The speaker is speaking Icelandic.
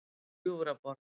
Gljúfraborg